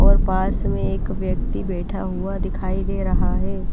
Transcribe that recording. और पास में एक व्यक्ति बैठा हुआ दिखाई दे रहा है।